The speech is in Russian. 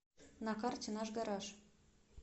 на карте наш гараж